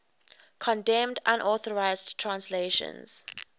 condemned unauthorized translations